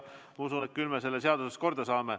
Ma usun, et küll me selle seaduses korda saame.